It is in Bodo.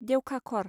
देवखाख'र